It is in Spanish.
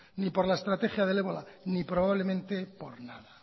ni por la estrategia del ébola ni probablemente por nada